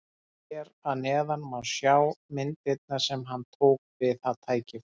Hér að neðan má sjá myndirnar sem hann tók við það tækifæri.